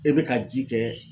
E bɛ ka ji kɛ